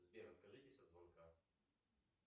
сбер откажитесь от звонка